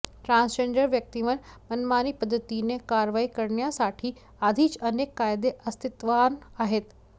transgender व्यक्तींवर मनमानी पद्धतीने कारवाई करण्यासाठी आधीच अनेक कायदे अस्तित्वात आहेत